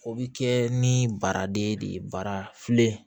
O bi kɛ ni baraden de ye bara filen